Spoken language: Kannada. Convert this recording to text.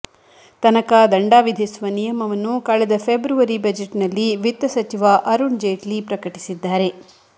ತನಕ ದಂಡ ವಿಧಿಸುವ ನಿಯಮವನ್ನು ಕಳೆದ ಫೆಬ್ರವರಿ ಬಜೆಟ್ನಲ್ಲಿ ವಿತ್ತ ಸಚಿವ ಅರುಣ್ ಜೇಟ್ಲಿ ಪ್ರಕಟಿಸಿದ್ದಾರೆ